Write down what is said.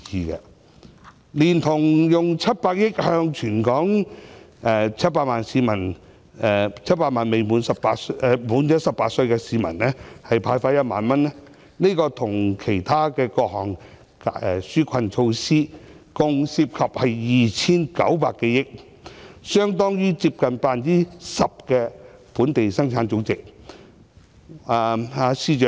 當局動用700億元向全港700萬名年屆18歲的市民派發1萬元，連同其他各項紓困措施，合共涉及約 2,900 多億元，相當於本地生產總值的 10%。